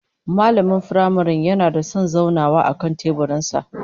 Mallamin firamaren yana da son zaunawa akan teburin sa